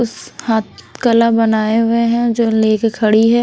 उस हाथ कला बनाए हुए हैं जो लेके खड़ी है।